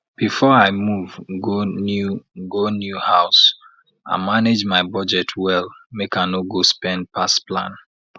before i move go new go new house i manage my budget well make i no go spend pass plan